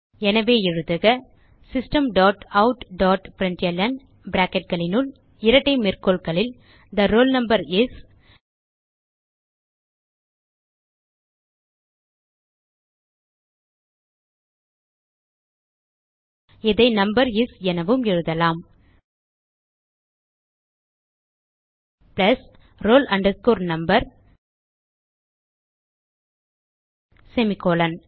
எனவே எழுதுக system dot out dot println bracketகளினுள் இரட்டை மேற்கோள்களில் தே ரோல் நம்பர் இஸ் இதை நம்பர் இஸ் எனவும் எழுதலாம் பிளஸ் roll number செமிகோலன்